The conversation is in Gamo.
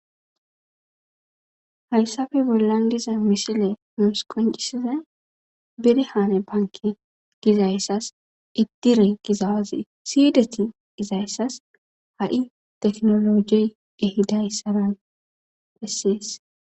hayssafe bollan diza misile nuus koncisiza birahaane banke gizayssas iddire gizawazi siyideti izayssas ha'i teknolojey ehidayssara bessees